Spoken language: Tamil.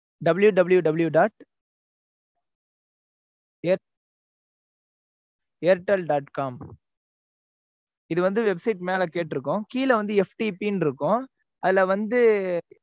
www dot air airtel dot com இதுவந்து website மேல கேட்ருக்கும். கீழ வந்து FTP ன்னு இருக்கும். அதுல வந்து